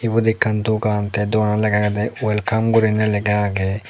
ebot ekkan dogan te dogananot lega agede welcome gurinei lega agey.